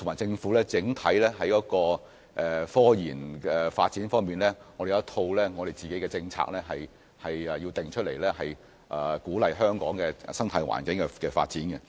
政府要在科研發展方面制訂一套整體政策，以鼓勵科研在香港的生態環境下發展。